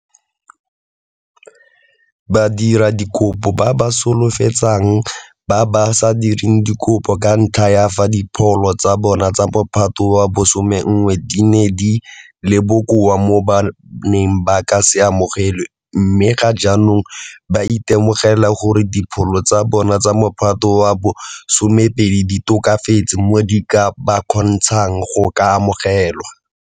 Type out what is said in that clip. Badiradikopo ba ba solofetsang ba ba sa dirang dikopo ka ntlha ya fa dipholo tsa bona tsa Mophato wa bo 11 di ne di le bokoa mo ba neng ba ka se amogelwe mme ga jaanong ba itemogela gore dipholo tsa bona tsa Mophato wa bo 12 di tokafetse mo di ka ba kgontshang go ka amogelwa.